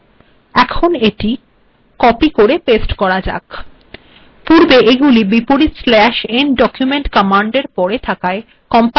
আিম পূর্েবই এই কমান্ড িট িলেখিছলাম এিট কিপ কের েপস্ট করা যাক